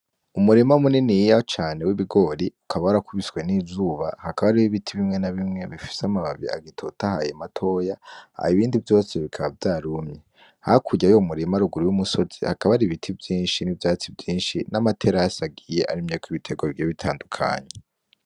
Umurima munini y'iya cane w'ibigori ukaba warakubiswe n'izuba hakaba ari bo ibiti bimwe na bimwe bifise amababi agitotahaye matoya aha ibindi vyose bikaba vya rumye hakurye yo mumurima aruguri y'umusozi hakaba ari ibiti vyinshi n'ivyatsi vyinshi n'amater ahasi agiye arimyeko ibitego biro bitandukanye.